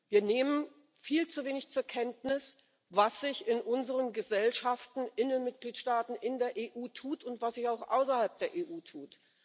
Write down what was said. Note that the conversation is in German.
Wir nehmen viel zu wenig zur Kenntnis, was sich in unseren Gesellschaften, in den Mitgliedstaaten, in der EU tut und was sich auch außerhalb der EU tut.